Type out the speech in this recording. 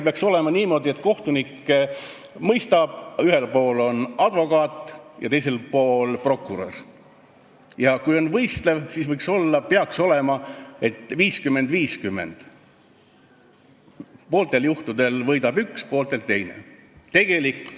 Peaks olema niimoodi, et kohtunik mõistab õigust, ühel pool on advokaat ja teisel pool prokurör, ja kui on võistlev menetlus, siis peaks olema vahekord 50 : 50, pooltel juhtudel võidab üks ja pooltel teine.